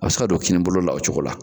A bɛ se ka don kini bolo la o cogo la.